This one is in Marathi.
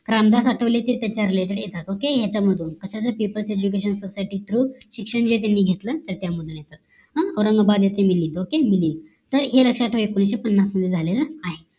रामदास आठवले चे ते येतात okay याचयामधून कशाचे people education society through शिक्षण यांनी घेतलं त्याच्या मधून येतात हा औरंगाबाद याचे मिलींद OKAY मिलिंद तर हे लक्ष्यात ठेवा एकोणीशे पन्नास मध्ये झालेलं आहे